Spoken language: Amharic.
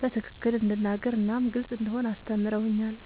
በትክክል እንድናገር እናም ግልጽ እንደሆን አስተምረውኛል።